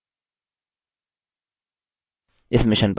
इस mission पर अधिक जानकारी निम्न लिंक पर उपलब्ध है